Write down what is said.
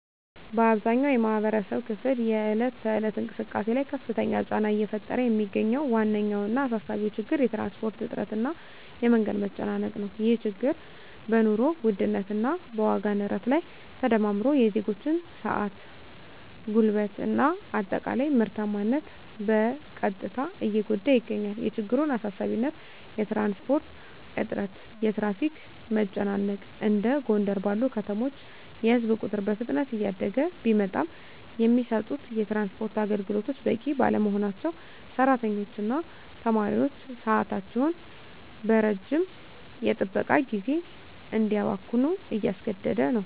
በአብዛኛው የማኅበረሰብ ክፍል የዕለት ተዕለት እንቅስቃሴ ላይ ከፍተኛ ጫና እየፈጠረ የሚገኘው ዋነኛውና አሳሳቢው ችግር የትራንስፖርት እጥረት እና የመንገድ መጨናነቅ ነው። ይህ ችግር በኑሮ ውድነት እና በዋጋ ንረት ላይ ተደማምሮ የዜጎችን ሰዓት፣ ጉልበት እና አጠቃላይ ምርታማነት በቀጥታ እየጎዳ ይገኛል። የችግሩን አሳሳቢነት የትራንስፖርት እጥረት (የትራፊክ መጨናነቅ): እንደ ጎንደር ባሉ ከተሞች የሕዝብ ቁጥር በፍጥነት እያደገ ቢመጣም፣ የሚሰጡት የትራንስፖርት አገልግሎቶች በቂ ባለመሆናቸው ሠራተኞችና ተማሪዎች ሰዓታቸውን በረጅም የጥበቃ ጊዜ እንዲያባክኑ እያስገደደ ነው።